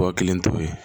Mɔgɔ kelen t'o ye